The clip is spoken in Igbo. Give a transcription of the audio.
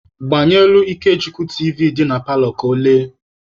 Gbanyelụ Ikechukwu tiivi dị na paalọ ka ọ lee!.